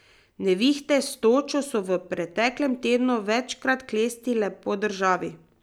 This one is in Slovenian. Nevihte s točo so v preteklem tednu večkrat klestile po državi.